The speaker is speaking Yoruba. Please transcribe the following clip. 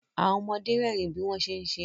Àwọn ọmọde rẹ́rìn bí wọ́n ṣé ń ṣeré